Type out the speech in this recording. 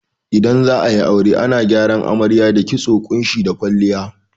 Idan za'ayi aure ana gyaran amarya da kitso, ƙunshi da kwalliya